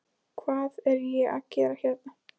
Hvað er ég að gera hérna?